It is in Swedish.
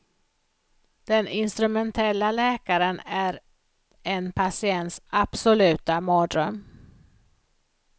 Den instrumentella läkaren är en patients absoluta mardröm.